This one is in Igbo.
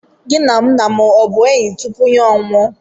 Gị na nna m abụ enyi tupu ya anwụọ?